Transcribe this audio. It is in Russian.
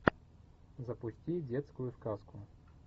запусти детскую сказку